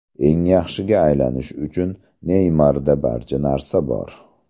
Eng yaxshiga aylanish uchun Neymarda barcha narsa bor.